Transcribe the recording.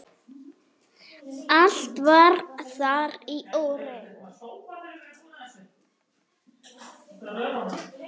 Allt var þar í óreiðu.